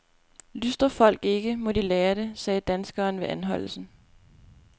Lystrer folk ikke, må de lære det, sagde danskeren ved anholdelsen.